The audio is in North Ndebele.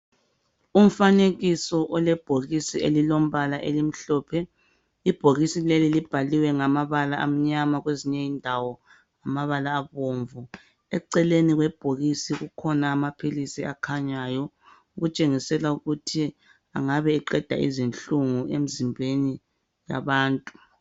Umfanekiso olebhokisi elilombala omhlophe ibhokisi lelo libhaliwe ngamabala amnyama kwezinye indawo ngamabala abomvu eceleni kwebhokisi kukhona amaphilisi akhanyayo kutshengisela ukuthi engabe eqeda izinhlunguemzimbenu yabantu